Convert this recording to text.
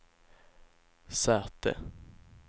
säte